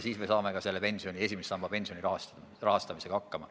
Siis me saame ka esimese samba pensioni rahastamisega hakkama.